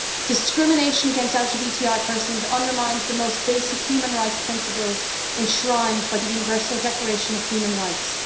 Discrimination against LGBTI persons undermines the most basic human rights principles enshrined by the Universal Declaration of Human Rights.